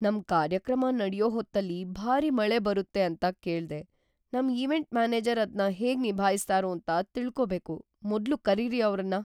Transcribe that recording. ನಮ್‌ ಕಾರ್ಯಕ್ರಮ ನಡ್ಯೋ ಹೊತ್ತಲ್ಲಿ ಭಾರಿ ಮಳೆ ಬರುತ್ತೆ ಅಂತ ಕೇಳ್ದೆ,‌ ನಮ್ ಈವೆಂಟ್ ಮ್ಯಾನೇಜರ್ ಅದ್ನ ಹೇಗ್ ನಿಭಾಯಿಸ್ತಾರೋಂತ ತಿಳ್ಕೊಬೇಕು, ಮೊದ್ಲು ಕರೀರಿ ಅವ್ರನ್ನ!